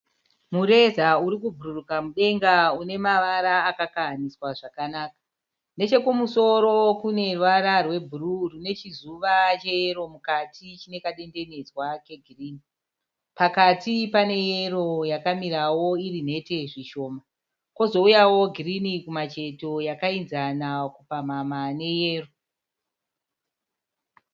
Mureza urikubhururuka mudenga une mavara akakahanidzwa zvakanaka. Nechekumusoro kune ruvara rwebhuruu rine chizuva cheyero mukati chine kadendenedzwa kegirini. Pakati pane yero yakamirawo iri mhete zvishoma, kozouyawo girini kumacheto yakaenzana kupamhamha neyero.